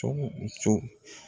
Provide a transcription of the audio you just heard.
Cogo o cogo